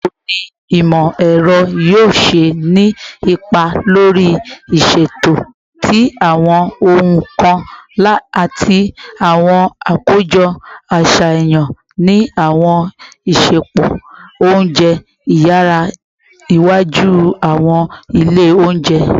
Bawo ni imọ-ẹrọ yoo ṣe ni ipa lori iṣeto ti awọn ohun kan ati awọn akojọ aṣayan ni awọn isẹpo ounjẹ iyara iwaju / awọn ile ounjẹ?